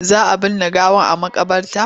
Za a binne gawar a maƙabarta?